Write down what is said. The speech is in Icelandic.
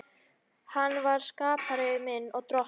Hann er skapari minn og Drottinn.